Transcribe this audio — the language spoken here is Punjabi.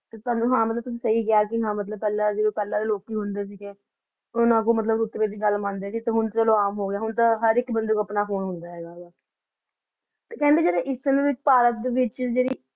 ਤਾਵਾਨੁ ਹਾਂ ਮਤਲਬ ਤੁਸੀਂ ਸਹੀ ਕਹਯ ਸੀ ਪੇਹ੍ਲਾਂ ਮਤਲਬ ਜਿਵੇਂ ਪੇਹ੍ਲਾਂ ਦੇ ਲੋਕ ਹੁੰਦੇ ਸੀਗੇ ਓਨਾਂ ਕੋਲੋ ਮਤਲਬ ਓਸ ਵੀਲਾਯ ਦੀ ਗਲ ਮੰਡੇ ਹਨ ਚਲੋ ਆਮ ਹੋਗਯਾ ਹਨ ਤਾਂ ਹਰ ਏਇਕ ਬੰਦੇ ਕੋਲ ਆਪਣਾ ਫੋਨੇ ਹੁੰਦਾ ਆਯ ਕੇਹ੍ਨ੍ਡੇ ਜਦੋਂ ਏਸ ਦੇ ਵਿਚ ਭਾਰਤ ਵਿਚ